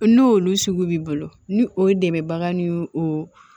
N'olu sugu b'i bolo ni o dɛmɛbaga ni o